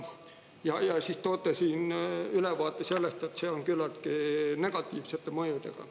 Ja siis toote siin ülevaate sellest, et see on küllaltki negatiivsete mõjudega.